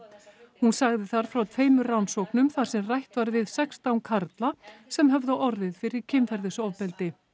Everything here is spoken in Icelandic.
hún sagði þar frá tveimur rannsóknum þar sem rætt var við sextán karla sem höfðu orðið fyrir kynferðisofbeldi